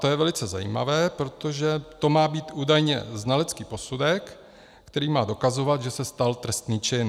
To je velice zajímavé, protože to má být údajně znalecký posudek, který má dokazovat, že se stal trestný čin.